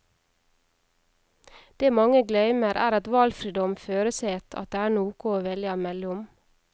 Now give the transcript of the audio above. Det mange gløymer, er at valfridom føreset at det er noko å velja mellom.